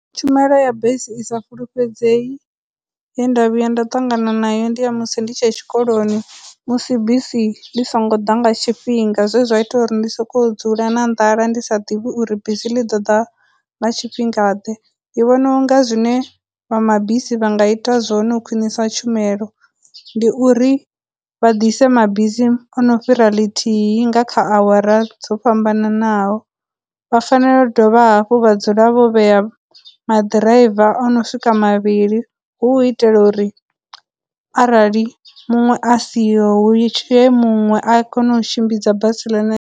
Tshumelo ya bisi i sa fulufhedzei ye nda vhuya nda ṱangana nayo ndi ya musi ndi tshe tshikoloni, musi bisi ḽi songo ḓa nga tshifhinga zwe zwa ita uri ndi sokou dzula na nḓala ndi sa ḓivhi uri bisi ḽi ḓo ḓa nga tshifhinga ḓe, ndi vhona unga zwine vha mabisi vha nga ita zwone u khwinisa tshumelo ndi uri vha dise mabisi ono fhira ḽithihi nga kha awara dzo fhambananaho, vha fanela u dovha hafhu vha dzula vho vhea maḓiraiva o no swika mavhili hu u itela uri arali muṅwe asiho hu muṅwe a kone u tshimbidza basi .